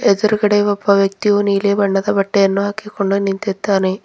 ಎದ್ರುಗಡೆ ಒಬ್ಬ ವ್ಯಕ್ತಿಯು ನೀಲಿ ಬಣ್ಣದ ಬಟ್ಟೆಯನ್ನು ಹಾಕಿಕೊಂಡು ನಿಂತಿದ್ದಾನೆ.